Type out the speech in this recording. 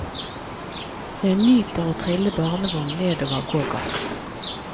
Jeg nyter å trille barnevogn nedover gågaten.